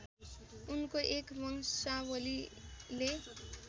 उनको एक बंशावलीले